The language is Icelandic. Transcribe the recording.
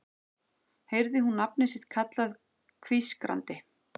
Heyrði hún nafnið sitt kallað hvískrandi